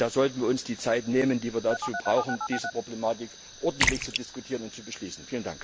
Und da sollten wir uns die Zeit nehmen, die wir dazu brauchen, diese Problematik ordentlich zu diskutieren und zu beschließen.